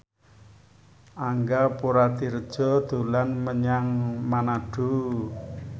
Angga Puradiredja dolan menyang Manado